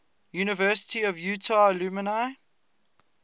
university of utah alumni